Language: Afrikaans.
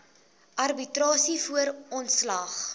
arbitrasie voor ontslag